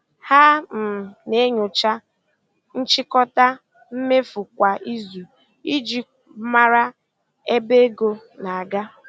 Ha um na-enyocha nchịkọta mmefu kwa izu iji mara ebe ego na-aga.